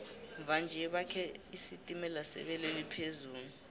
mva nje bakhe isitimela sebelo eliphezulu